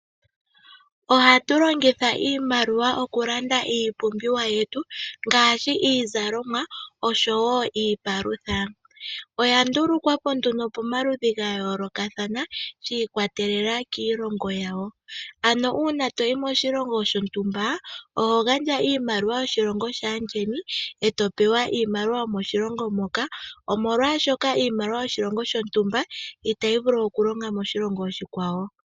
Ohatu longitha iimaliwa okulanda iipumbiwa yetu ngaashi iizalomwa osho woo iipalutha oyandulukwapo pamaludhi gayoolokathana shiikwatelela kiilongo yawo, ano uuna toyi moshilongo shontumba oho gandja iimaliwa yoshilongo sheni ngwee to pewa iimaliwa yokoshilongo shamo omolwaasho iimaliwa yomoshilongo shontumba itayi vulu okulonga moshilongo oshikwawo.